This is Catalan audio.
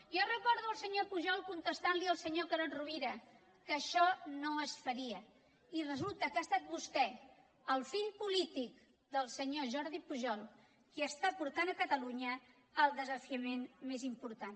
jo recordo el senyor pujol contestant al senyor carod rovira que això no es faria i resulta que ha estat vostè el fill polític del senyor jordi pujol qui està portant catalunya al desafiament més important